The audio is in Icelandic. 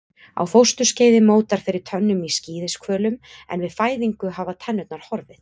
Á fósturskeiði mótar fyrir tönnum í skíðishvölum en við fæðingu hafa tennurnar horfið.